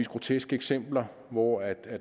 groteske eksempler hvor